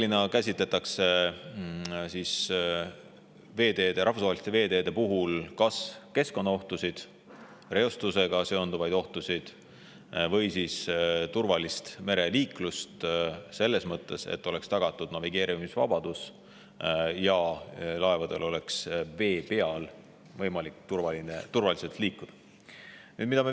Enamasti käsitletakse rahvusvaheliste veeteede puhul kas keskkonnaohtusid, reostusega seonduvaid ohtusid või turvalist mereliiklust selles mõttes, et oleks tagatud navigeerimisvabadus ja laevadel oleks võimalik vee peal turvaliselt liikuda.